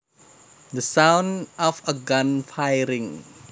The sound of a gun firing